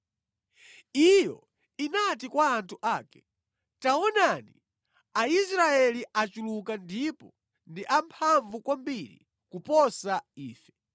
Iyo inati kwa anthu ake, “Taonani, Aisraeli achuluka ndipo ndi amphamvu kwambiri kuposa ife.